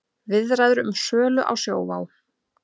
Viðræður um sölu á Sjóvá